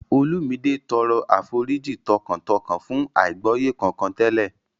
Olumide tọrọ àforíjì tọkàntọkàn fún àìgbọ́yé kankan tẹ́lẹ̀